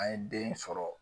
An ye den sɔrɔ.